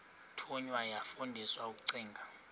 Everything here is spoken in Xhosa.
thunywa yafundiswa ukugcina